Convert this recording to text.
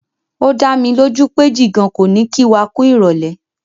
O dámilójú pé Jìgan kò ní kí wa kú ìrọ̀lẹ́.